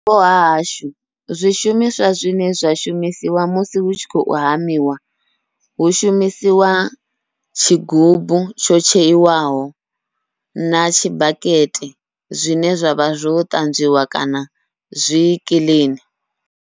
Kha vhupo hahashu zwishumiswa zwine zwa shumisiwa musi hu tshi khou hamiwa, hu shumisiwa tshigubu tsho tsheiwaho na tshibakete zwine zwavha zwo ṱanzwiwa kana zwi kiḽini.